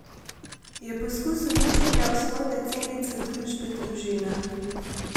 Je poskus uničenja osnovne celice družbe družina?